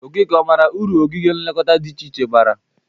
Okeke, ọ mara ụrụ ogige nlekọta dị iche iche bara?